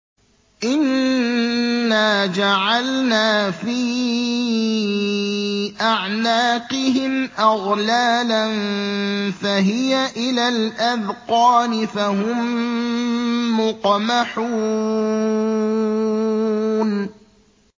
إِنَّا جَعَلْنَا فِي أَعْنَاقِهِمْ أَغْلَالًا فَهِيَ إِلَى الْأَذْقَانِ فَهُم مُّقْمَحُونَ